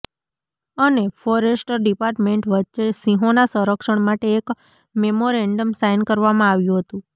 અને forest department વચ્ચે સિંહોના સંરક્ષણ માટે એક મેમોરેન્ડમ સાઈન કરવામાં આવ્યુ હતું